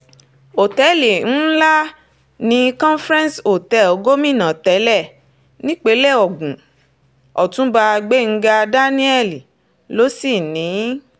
ọ̀tẹ̀ẹ̀lì ńlá ní conference hotel gómìnà tẹ́lẹ̀ nípínlẹ̀ ogun ọ̀túnba gbẹ̀ngàn daniel ló sì ní in